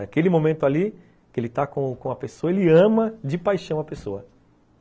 Aquele momento ali, que ele está com com a pessoa, ele ama de paixão a pessoa.